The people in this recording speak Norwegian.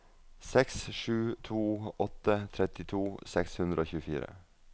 seks sju to åtte trettito seks hundre og tjuefire